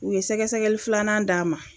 U ye sɛgɛsɛgɛli filanan d'a ma